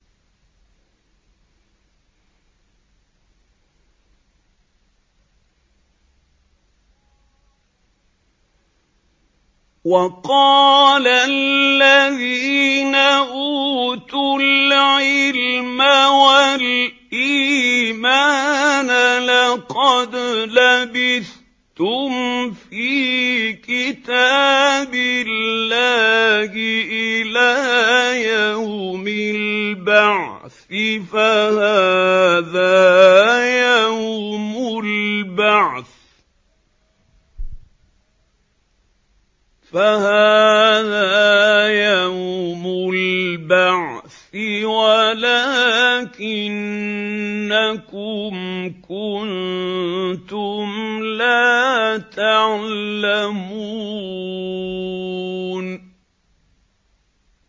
وَقَالَ الَّذِينَ أُوتُوا الْعِلْمَ وَالْإِيمَانَ لَقَدْ لَبِثْتُمْ فِي كِتَابِ اللَّهِ إِلَىٰ يَوْمِ الْبَعْثِ ۖ فَهَٰذَا يَوْمُ الْبَعْثِ وَلَٰكِنَّكُمْ كُنتُمْ لَا تَعْلَمُونَ